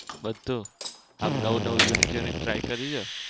બધું? આમ નવું નવું unique unique try કરિયું છે?